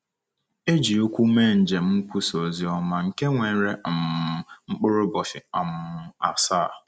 E ji ụkwụ mee njem nkwusa ozioma, nke were um mkpụrụ ụbọchị um asaa.